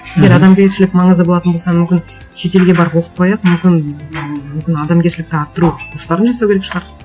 егер адамгершілік маңызды болатын болса мүмкін шетелге барып оқытпай ақ мүмкін мүмкін адамгершілікті арттыру курстарын жасау керек шығар